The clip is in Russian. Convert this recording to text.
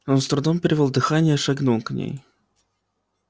он с трудом перевёл дыхание и шагнул к ней